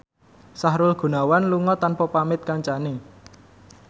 Sahrul Gunawan lunga tanpa pamit kancane